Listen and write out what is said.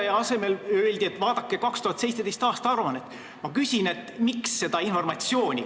Selle asemel öeldi, et vaadatakse 2017. aasta aruannet.